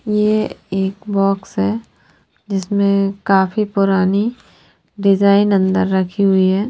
ये एक बॉक्स है जिसमें काफी पुरानी डिजाइन अंदर रखी हुई है।